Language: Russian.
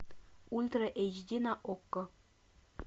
ультра эйч ди на окко